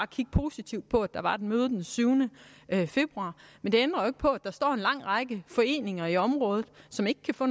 kigge positivt på at der var et møde den syvende februar men det ændrer jo ikke på at der står en lang række foreninger i området som ikke kan få